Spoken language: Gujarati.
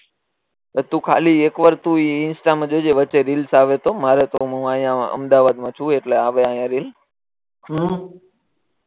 બસ તું ખાલી એક વાર તુ ઇન્સ્ટા જોજે વચ્ચે રીલ્સ આવે તો મારે અમદાવાદ મા રહું એટલે આવે રીલ હમ